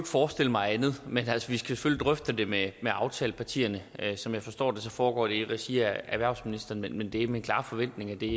forestille mig andet men altså vi skal selvfølgelig drøfte det med aftalepartierne som jeg forstår det foregår det i regi af erhvervsministeren men det er min klare forventning at det